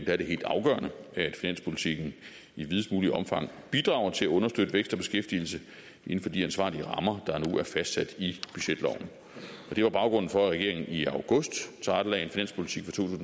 er det helt afgørende at finanspolitikken i videst muligt omfang bidrager til at understøtte vækst og beskæftigelse inden for de ansvarlige rammer der nu er fastsat i budgetloven det var baggrunden for at regeringen i august tilrettelagde en finanspolitik for to